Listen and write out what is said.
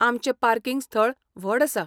आमचें पार्किंग स्थळ व्हड आसा .